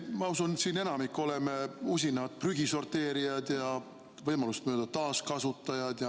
Ma usun, et me siin enamik oleme usinad prügisorteerijad ja võimalust mööda taaskasutajad.